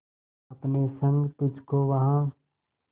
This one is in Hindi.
अपने संग तुझको वहां